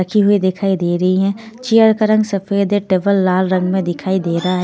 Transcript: रखी हुई दिखाई दे रही है चेयर का रंग सफेद है टेबल लाल रंग में दिखाई दे रहा है ।